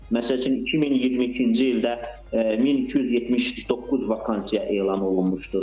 Məsəl üçün 2022-ci ildə 1279 vakansiya elan olunmuşdu.